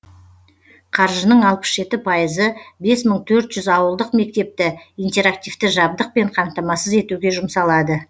қаржының алпыс жеті пайызы бес мың төрт жүз ауылдық мектепті интерактивті жабдықпен қамтамасыз етуге жұмсалады